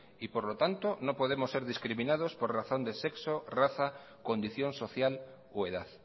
y por lo tanto no podemos ser discriminados por razón de sexo raza condición social o edad